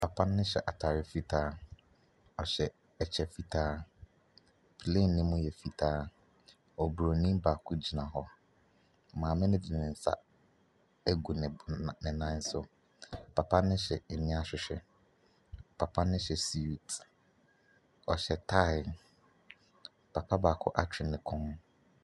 Papa no hyɛ atadeɛ fitaa. Ɔhyɛ ɛkyɛ fitaa. Plane no mu yɛ fitaa. Obronin baako gyina hɔ. Maame no de ne nsa agu ne bo na ne nan so. Papa nohyɛ aniwa ahwehwɛ. Papa no hyɛ suit, ɔhye tae. Papa baako atwe ne kɔn.